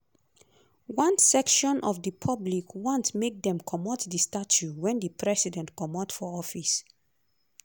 one section of di public want make dem comot di statue wen di president comot for office.